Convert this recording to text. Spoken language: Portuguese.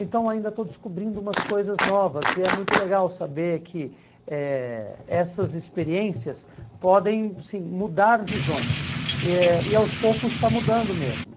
Então ainda estou descobrindo umas coisas novas e é muito legal saber que eh essas experiências podem sim mudar visões eh e aos poucos está mudando mesmo.